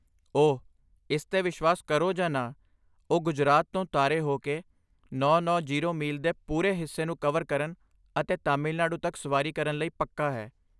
ਓ, ਇਸ 'ਤੇ ਵਿਸ਼ਵਾਸ ਕਰੋ ਜਾਂ ਨਾ, ਉਹ ਗੁਜਰਾਤ ਤੋਂ ਤਾਰੇ ਹੋ ਕੇ ਨੌ ਨੌ 0 ਮੀਲ ਦੇ ਪੂਰੇ ਹਿੱਸੇ ਨੂੰ ਕਵਰ ਕਰਨ ਅਤੇ ਤਾਮਿਲਨਾਡੂ ਤੱਕ ਸਵਾਰੀ ਕਰਨ ਲਈ ਪੱਕਾ ਹੈ